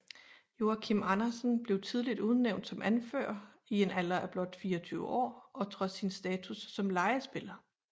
Joachim Andersen blev tidligt udnævnt som anfører i en alder af blot 24 år og trods sin status som lejespiller